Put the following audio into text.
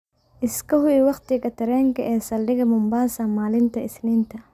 iska hubi wakhtiga tareenka ee saldhiga mombasa maalinta isniinta